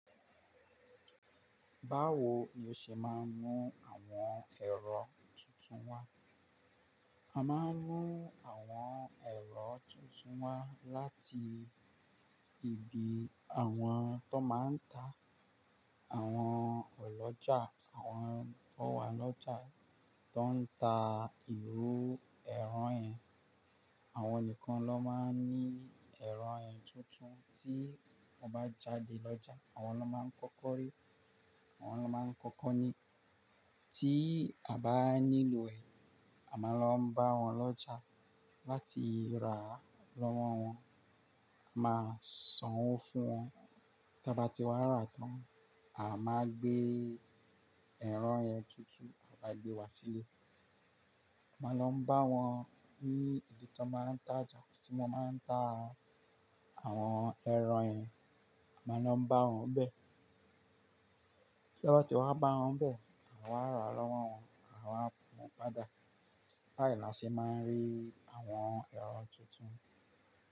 Báwo ni o ṣe máa ń mu àwọn ẹ̀rọ tuntun wá? A máa ń nu àwọn ẹ̀rọ tuntun wá láti ibi àwọn tó máa ń ta àwọn ọlọ́jà, àwọn tó wà lọ́jà tó ń ta irú ẹran ẹ. Àwọn nìkan ló máa ń ní ẹran ẹ tuntun tí wọ́n bá jáde lọ́jà. Àwọn ló máa ń kọ́kọ́ rí, àwọn ló máa ń kọ́kọ́ ní. Tí a bá nílò ẹ̀, a máa lọ bá wọn lọ́jà láti rà lọ́wọ́ wọn. A máa sanwó fún wọn. Tí a bá ti wá ra tán, a máa gbé ẹran yẹn tuntun, a bá gbé wá sílé. A máa lọ bá wọn ní ibi tí wọ́n máa ń tájà, tí wọ́n máa ń ta àwọn ẹran yẹn, a máa lọ bá wọn bẹ̀. Tí abá ti è wá bá wọn ń bẹ̀, à wá ràá lọ́wọ́ wọn, a wá pọn pada. Báyìí ni a sì máa ń rí àwọn ẹ̀rọ̀ tuntun.